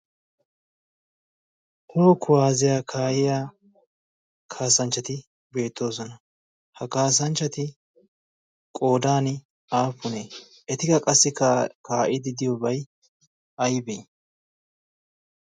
toho kuwaaziyaa kaa'iya kaasanchchati beettoosona. ha kaasanchchati qoodany aapunee? eti ka qassi kaa'idi diyoobay aybee?